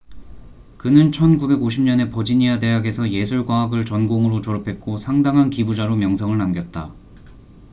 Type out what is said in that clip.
그는 1950년에 버지니아 대학에서 예술 과학을 전공으로 졸업했고 상당한 기부자로 명성을 남겼다